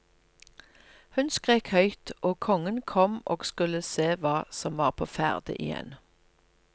Hun skrek høyt, og kongen kom og skulle se hva som var på ferde igjen.